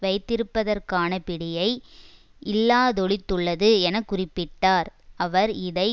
வைத்திருப்பதற்கான பிடியை இல்லாதொழித்துள்ளது என குறிப்பிட்டார் அவர் இதை